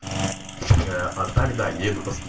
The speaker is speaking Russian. а тогда